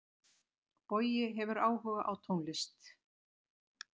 Bogi hefur áhuga á tónlist.